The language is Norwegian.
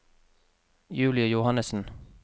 Julie Johannesen